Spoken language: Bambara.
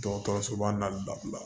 Dɔgɔtɔrɔsoba la